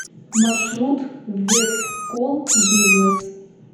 маршрут вестколл бизнес